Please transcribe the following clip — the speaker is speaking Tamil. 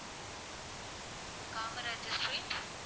காமராஜர் street